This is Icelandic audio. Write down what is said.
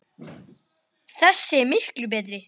Þessi er miklu betri.